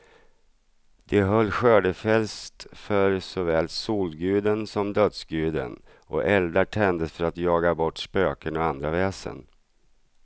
De höll skördefest för såväl solguden som dödsguden, och eldar tändes för att jaga bort spöken och andra väsen.